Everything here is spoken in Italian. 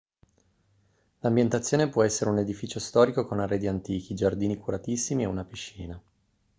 l'ambientazione può essere un edificio storico con arredi antichi giardini curatissimi e una piscina